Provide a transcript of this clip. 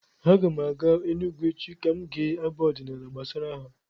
Aga m aga Enugwu echi ka m gee abụ ọdịnaala gbasara ha.